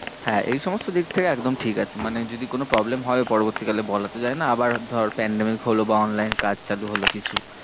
হ্যাঁ এই সমস্ত দিক থেকে একদম ঠিকাছে, মানে যদি কোনো problem হয়েও পরবর্তী কালে, বলা তো যায়ে না আবার ধর pandemic হল বা online কাজ চালু হল কিছু